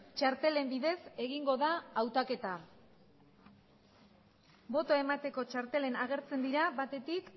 txartelen bidez egingo da hautaketa botoa emateko txarteletan agertzen dira batetik